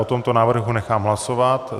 O tomto návrhu nechám hlasovat.